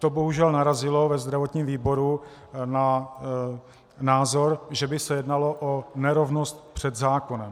To bohužel narazilo ve zdravotním výboru na názor, že by se jednalo o nerovnost před zákonem.